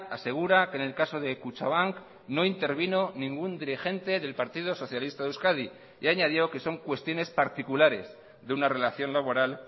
asegura que en el caso de kutxabank no intervino ningún dirigente del partido socialista de euskadi y añadió que son cuestiones particulares de una relación laboral